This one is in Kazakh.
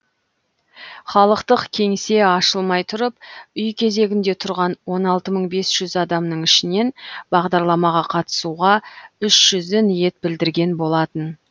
халықтық кеңсе ашылмай тұрып үй кезегінде тұрған он алты мың бес жүз адамның ішінен бағдарламаға қатысуға үш жүзі ниет білдірген болатын